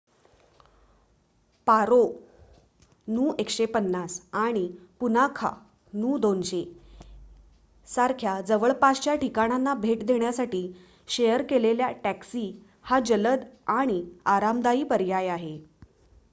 पारो नू १५० आणि पुनाखा नू २०० सारख्या जवळपासच्या ठिकाणांना भेट देण्यासाठी शेअर केलेल्या टॅक्सी हा जलद आणि आरामदायी पर्याय आहे